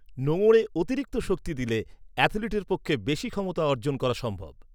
নোঙরে অতিরিক্ত শক্তি দিলে অ্যাথলিটের পক্ষে বেশি ক্ষমতা অর্জন করা সম্ভব।